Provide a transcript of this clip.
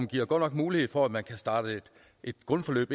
giver godt nok mulighed for at man kan starte grundforløb